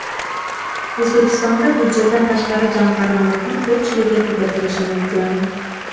O‘zbekistonda budjetdan tashqari jamg‘armalarning ko‘pchiligi tugatilishi mumkin.